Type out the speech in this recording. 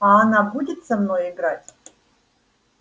а она будет со мной играть